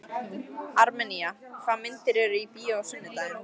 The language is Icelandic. Armenía, hvaða myndir eru í bíó á sunnudaginn?